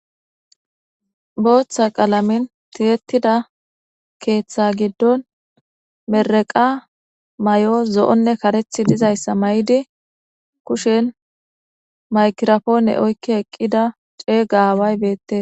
booththa qalamin tiyettida keeththa giddon mereqa may7o zo7onne karethi dizayssa may7idi kushen makirapoone oykki eqqida ceey gaaway beette